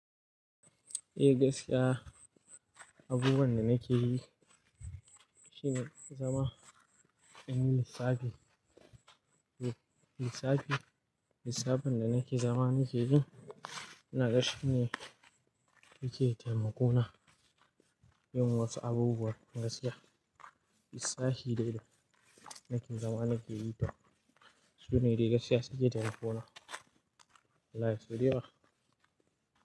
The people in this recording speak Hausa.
Eh gaskiya! Abubuwan da nake yi shine zama ɗan lissafi. Lissafin da nake zama nake yi inaga shi ne yake taimako na yin wasu abubuwa. Gaskiya lissafi dai dai nake zama nake yi Sune dai gaskiya suke taimako na ya sau da ywa.